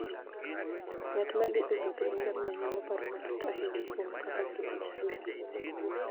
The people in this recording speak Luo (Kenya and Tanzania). Ng'at ma thi e wuoth gi ngamia nyalo paro matut ahinya kuom kaka ngima chalo.